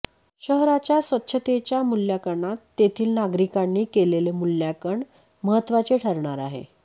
शहराच्या स्वच्छतेच्या मूल्यांकनात तेथील नागरिकांनी केलेले मूल्यांकन महत्त्वाचे ठरणार आहे